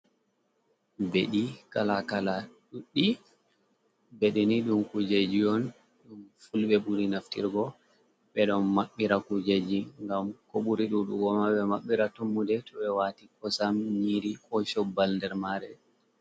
Beɗii kala kala ɗuɗɗi, beɗii ɗum kujeji on ɗum fulɓe ɓuri naftirgo ɓe ɗon mabbira kujeji ngam ko ɓuri ɗuɗugo ma ɓe ɗo mabbira tummude to ɓe wati kosam, nyiri, ko shobbal nder mare.